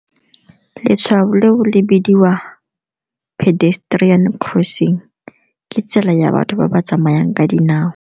Letshwao leo le bidiwa pedestrian crossing, ke tsela ya batho ba ba tsamayang ka dinao.